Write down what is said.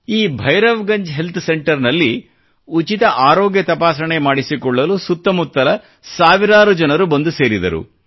ಈ Bhairavganj health centre ನಲ್ಲಿ ಉಚಿತ ಆರೊಗ್ಯ ತಪಾಸಣೆ ಮಾಡಿಸಿಕೊಳ್ಳಲು ಸುತ್ತಮುತ್ತಲ ಸಾವಿರಾರು ಜನರು ಬಂದು ಸೇರಿದರು